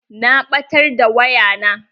Na ɓatar da waya na.